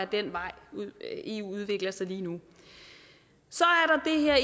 den vej eu udvikler sig lige nu så